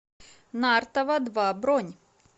нартова два бронь